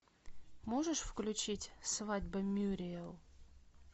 можешь включить свадьба мюриэл